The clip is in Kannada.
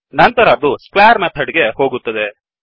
ನಂತರ ಅದು ಸ್ಕ್ವೇರ್ ಮೆಥಡ್ ಗೆ ಹೋಗುತ್ತದೆ